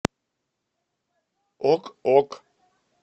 ок ок